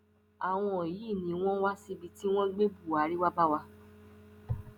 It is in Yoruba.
àwọn yìí ni wọn wá síbi tí wọn gbé buhari wàá bá wa